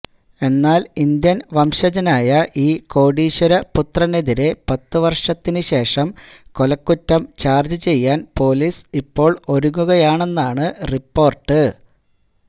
എന്നാൽ ഇന്ത്യൻ വംശജനായ ഈ കോടീശ്വരപുത്രനെതിരെ പത്ത് വർഷത്തിന് ശേഷം കൊലക്കുറ്റം ചാർജ് ചെയ്യാൻ പൊലീസ് ഇപ്പോൾ ഒരുങ്ങുകയാണെന്നാണ് റിപ്പോർട്ട്